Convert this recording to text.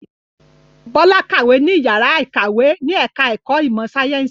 Bọ́lá kàwé ní ìyàrá-ìkàwé ní ẹ̀ka-ẹ̀kọ́ ìmọ̀-sáyẹ́ńsì.